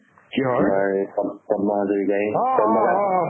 তোমাৰ পদ্ ~ পদ্ম হাজৰিকাই